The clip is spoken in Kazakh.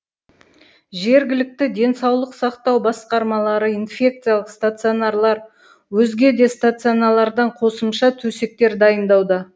жергілікті денсаулық сақтау басқармалары инфекциялық стационарлар өзге де стационарлардан қосымша төсектер дайындауда